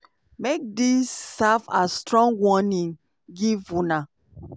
make dis serve as strong warning give una.